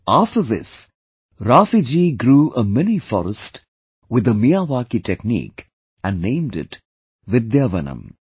After this, Raafi ji grew a mini forest with the Miyawaki technique and named it 'Vidyavanam'